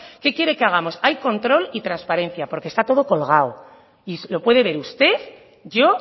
qué quieren que hagamos hay control y transparencia porque está todo colgado y lo puede ver usted yo